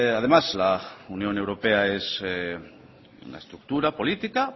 además la unión europea es una estructura política